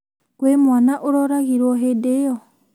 Kwĩ mwana ũroragirwo hindĩ ĩyo?